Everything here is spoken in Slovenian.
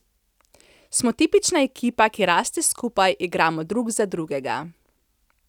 Smo tipična ekipa, ki raste skupaj, igramo drug za drugega.